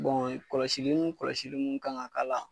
kɔlɔsili ni kɔlɔsili mun kan ka k'a la